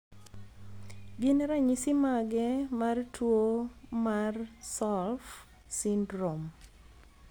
Gin ranyisis mage mar tuo Martsolf syndrome?